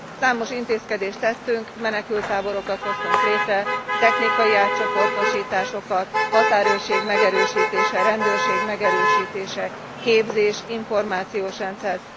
Számos intézkedést tettünk, menekülttáborokat hoztunk létre, technikai átcsoportosításokat, határőrség megerősítése, rendőrség megerősítése, képzés, információs rendszer.